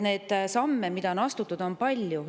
Nii et samme, mida on astutud, on palju.